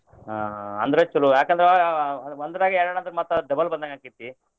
ಹಾ ಅಂದ್ರ ಚೊಲೋ ಯಾಕಂದ್ರ ಒಂದರಾಗ ಎರ್ಡ್ ಅಂದ್ರ ಮತ್ತ double ಬಂದಂಗ ಆಕ್ಕೆತಿ.